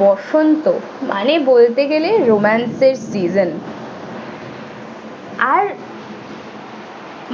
বসন্ত মানে বলতে গেলে romance এর season আর